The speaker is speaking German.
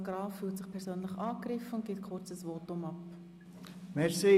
Graf fühlt sich persönlich angegriffen und gibt kurz ein Votum ab.